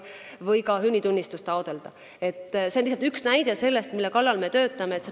See on lihtsalt üks näide sellest, mille kallal me töötame.